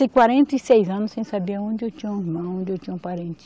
quarenta e seis anos sem saber onde eu tinha um irmão, onde eu tinha um parente.